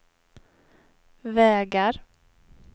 vägar